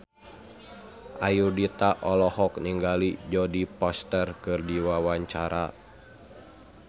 Ayudhita olohok ningali Jodie Foster keur diwawancara